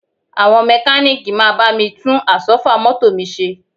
Àwọn mẹ́kalíìkì máa bá mi tún Àsọ́fà mọ́tò mi ṣe